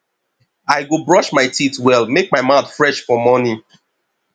i go brush my teeth well make my mouth fresh for morning